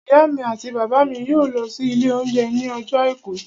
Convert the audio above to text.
Ìyá mi àti bàbá mi yóò lọ sí ilé oúnjẹ ní ọjọ́ àìkú